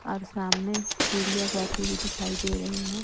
और सामने सीढ़ियां जाती हुई दिखाई दे रही हैं।